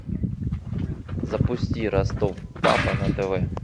запусти ростов папа на тв